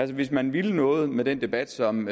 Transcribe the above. hvis man ville noget med den debat som